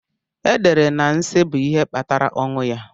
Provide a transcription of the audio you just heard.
E dere na nsí bụ ihe kpatara ọnwụ ya.